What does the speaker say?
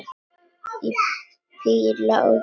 Og píla í gegnum það!